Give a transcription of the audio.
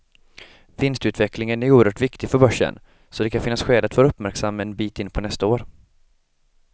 Vinstutvecklingen är oerhört viktig för börsen, så det kan finnas skäl att vara uppmärksam en bit in på nästa år.